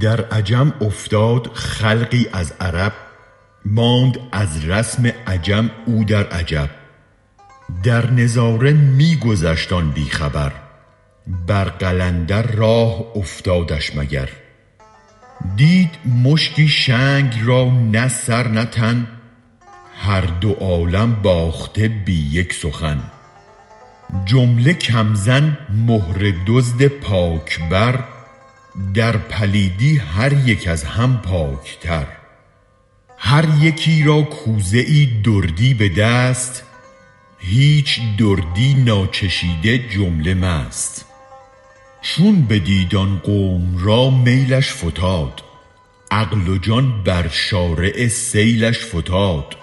در عجم افتاد خلقی از عرب ماند از رسم عجم او در عجب در نظاره می گذشت آن بی خبر بر قلندر راه افتادش مگر دید مشتی شنگ را نه سر نه تن هر دو عالم باخته بی یک سخن جمله کم زن مهره دزد پاک بر در پلیدی هریک از هم پاک تر هر یکی را کرده ای دزدی به دست هیچ دردی ناچشیده جمله مست چون بدید آن قوم را میلش فتاد عقل و جان بر شارع سیلش فتاد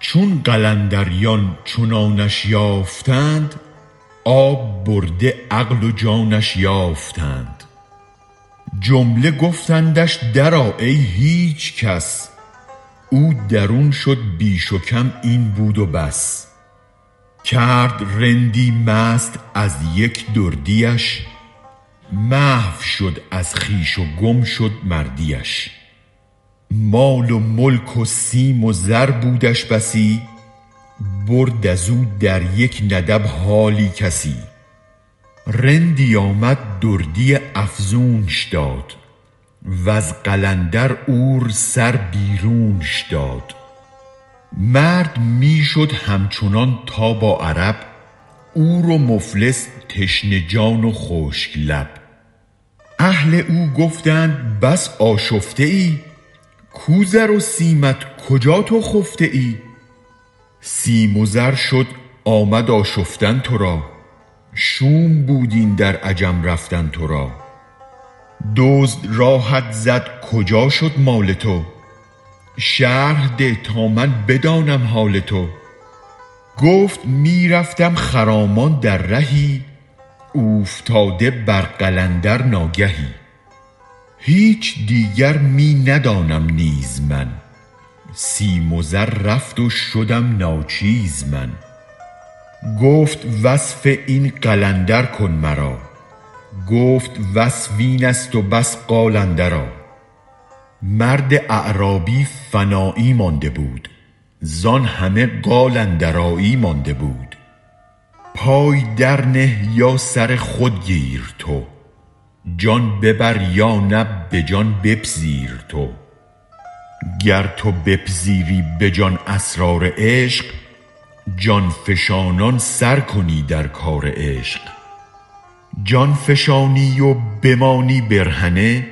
چون قلندریان چنانش یافتند آب برده عقل و جانش یافتند جمله گفتندش درآ ای هیچ کس او درون شد بیش و کم این بود بس کرد رندی مست از یک دردیش محو شد از خویش و گم شد مردیش مال و ملک و سیم و زر بودش بسی برد ازو در یک ندب حالی کسی رندی آمد دردی افزونش داد وز قلندر عور سر بیرونش داد مرد می شد همچنان تا با عرب عور و مفلس تشنه جان و خشک لب اهل او گفتند بس آشفته ای کو زر و سیمت کجا تو خفته ای سیم و زر شد آمد آشفتن ترا شوم بود این در عجم رفتن ترا دزد راهت زد کجا شد مال تو شرح ده تا من بدانم حال تو گفت می رفتم خرامان در رهی اوفتاده بر قلندر ناگهی هیچ دیگر می ندانم نیز من سیم و زر رفت وشدم ناچیز من گفت وصف این قلندر کن مرا گفت وصف اینست و بس قال اندرا مرد اعرابی فنایی مانده بود زان همه قال اندرایی مانده بود پای درنه یا سر خود گیر تو جان ببر یا نه به جان بپذیر تو گر تو بپذیری به جان اسرار عشق جان فشانان سرکنی در کار عشق جان فشانی و بمانی برهنه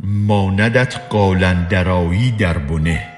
ماندت قال اندرایی دربنه